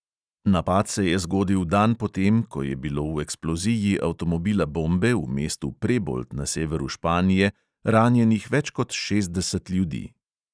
Napad se je zgodil dan po tem, ko je bilo v eksploziji avtomobila bombe v mestu prebold na severu španije ranjenih več kot šestdeset ljudi.